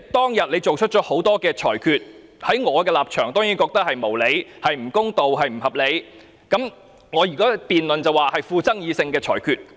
當天，主席作出了多項裁決，在我的立場，這些裁決當然是無理、不公、不合理，在辯論中，我會說這些是富爭議性的裁決。